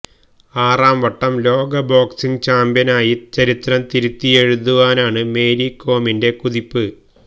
ആറാം വട്ടം ലോക ബോക്സിങ് ചാമ്പ്യനായി ചരിത്രം തിരിത്തിയെഴുതുവാനാണ് മേരി കോമിന്റെ കുതിപ്പ്